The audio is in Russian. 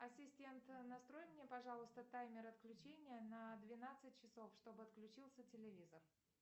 ассистент настрой мне пожалуйста таймер отключения на двенадцать часов чтобы отключился телевизор